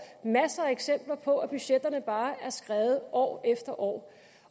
masser af eksempler på at budgetterne bare er skredet år efter år